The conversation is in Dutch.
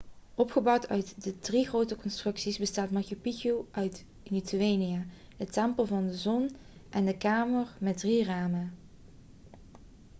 opgebouwd uit drie grote constructies bestaat de machu picchu uit intihuatana de tempel van de zon en de kamer met drie ramen